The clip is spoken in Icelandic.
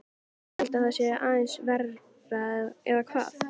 Ég held að það sé aðeins verra, eða hvað?